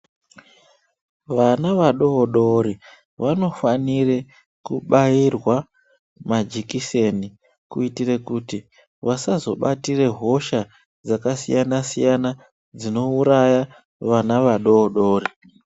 Vana vadodori vanofanire kubairwa majekiseni kuitirekuti vasazobatire hosha dzakasiyana-siyana dzinouraya vana vadodori.